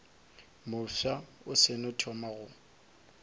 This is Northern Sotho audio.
mofsa o seno thoma go